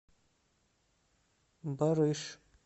барыш